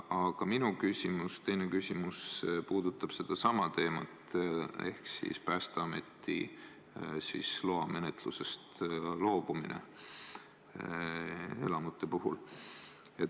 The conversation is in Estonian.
Aga minu teine küsimus puudutab sedasama varasemat teemat ehk siis Päästeameti loamenetlusest loobumist teatud hoonete puhul.